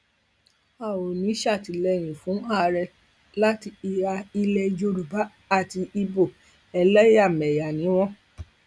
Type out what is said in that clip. a ò ní í ṣàtìlẹyìn fún ààrẹ láti ìhà ilẹ yorùbá àti ibo ẹlẹyàmẹyà ni wọn